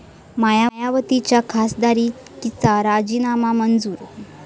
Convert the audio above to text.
मायावतींच्या खासदारकीचा राजीनामा मंजूर